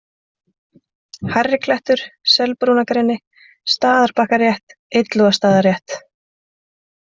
Hærriklettur, Selbrúnargreni, Staðarbakkarétt, Illugastaðarétt